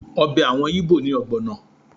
Ọbẹ̀ àwọn Íbò ni ọ̀gbọ̀nà